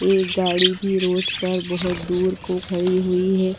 एक गाड़ी भी रोड पर बहुत दूर को खड़ी हुई है।